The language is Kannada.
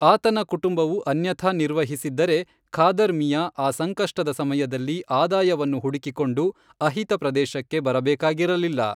ಆತನ ಕುಟುಂಬವು ಅನ್ಯಥಾ ನಿರ್ವಹಿಸಿದ್ದರೆ , ಖಾದರ್ ಮಿಯಾ ಆ ಸಂಕಷ್ಟದ ಸಮಯದಲ್ಲಿ ಆದಾಯವನ್ನು ಹುಡುಕಿಕೊಂಡು ಅಹಿತ ಪ್ರದೇಶಕ್ಕೆ ಬರಬೇಕಾಗಿರಲಿಲ್ಲ.